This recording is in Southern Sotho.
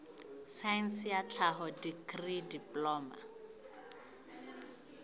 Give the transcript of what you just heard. saense ya tlhaho dikri diploma